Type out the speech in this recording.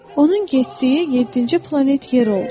Onun getdiyi yeddinci planet Yer oldu.